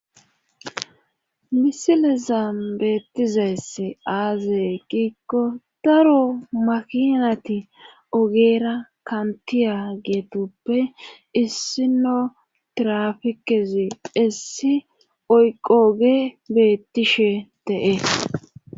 misile zaam beettizeess aazey giikko daro makinati ogeera kantiya geetuppe issino tirafikezi essi oyqooge bettishe de7es